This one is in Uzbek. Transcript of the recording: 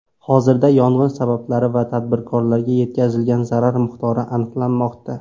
Hozirda yong‘in sabablari va tadbirkorlarga yetkazilgan zarar miqdori aniqlanmoqda.